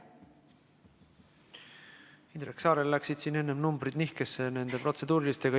Indrek Saarel läksid siin enne numbrid nihkesse nende protseduurilistega.